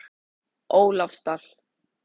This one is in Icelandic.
Ólafsdal